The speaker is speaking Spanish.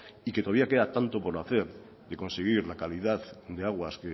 y que todavía queda tanto por hacer de conseguir la calidad de aguas